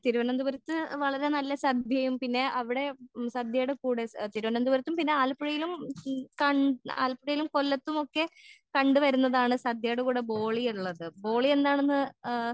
തിരുവനന്തപുരത്ത്‌ വളരെ നല്ല സദ്യയും പിന്നെ അവിടെ ഉം സദ്യടെ കൂടെ തിരുവനന്തപുരത്തും പിന്നെ ആലപ്പുഴയിലും ഉം ക ഉം ആലപ്പുഴയിലും കൊല്ലത്തുമൊക്കെ കണ്ട് വരുന്നതാണ് സദ്യടെ കൂടെ ബോളി ഇള്ളത് ബോളി എന്താണെന്ന് ഏഹ്